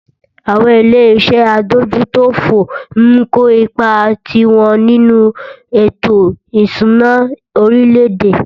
Àwọn ilé iṣé adójútòfò ń kó ipá tiwọn nínú ètò ìṣúná orílẹ̀-èdè.